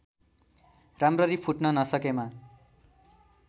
राम्ररी फुट्न नसकेमा